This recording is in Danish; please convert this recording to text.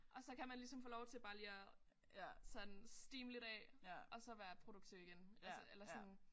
Og så kan man ligesom få lov til bare lige at sådan steame lidt af og så være produktiv igen altså eller sådan